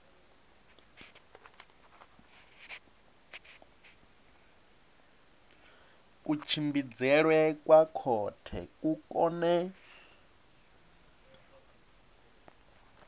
kutshimbidzelwe kwa khothe ku kone